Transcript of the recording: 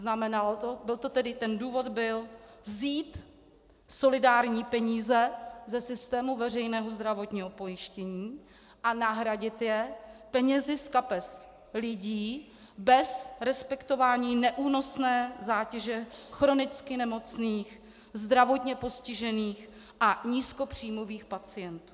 Znamenalo to, ten důvod byl vzít solidární peníze ze systému veřejného zdravotního pojištění a nahradit je penězi z kapes lidí bez respektování neúnosné zátěže chronicky nemocných, zdravotně postižených a nízkopříjmových pacientů.